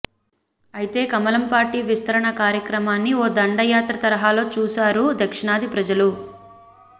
అయితే కమలం పార్టీ విస్తరణ కార్యక్రమాన్ని ఓ దండయాత్ర తరహాలో చూసారు దక్షిణాది ప్రజలు